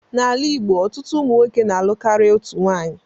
N'ala igbo, ọtụtụ ụmụnwoke na-alụ karịa otu nwanyị